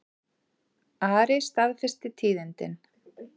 Ari staðfesti tíðindin.